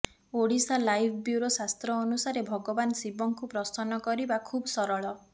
Odisha live bureau ଶାସ୍ତ୍ର ଅନୁସାରେ ଭଗବାନ ଶିବଙ୍କୁ ପ୍ରସନ୍ନ କରିବା ଖୁବ୍ ସରଳ